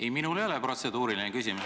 Ei, minul ei ole protseduuriline küsimus.